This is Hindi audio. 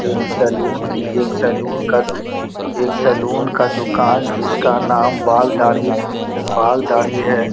एक सैलून की एक सैलून का दु एक सैलून का दुकान जिसका नाम बाल दाढ़ी बाल दाढ़ी है।